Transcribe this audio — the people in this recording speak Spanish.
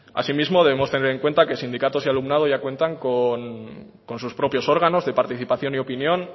asimismo debemos de tener en cuenta que sindicatos y alumnado ya cuentas con sus propios órganos de participación y opinión